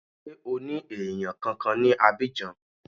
Ṣé o ní èèyàn kankan ní Abidjan